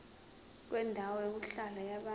kwendawo yokuhlala yabantu